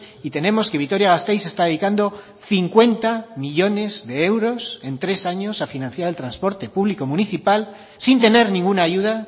y tenemos que vitoria gasteiz está dedicando cincuenta millónes de euros en tres años a financiar el transporte público municipal sin tener ninguna ayuda